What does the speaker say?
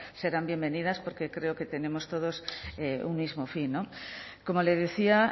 serán bienvenidas porque creo que tenemos todos un mismo fin como le decía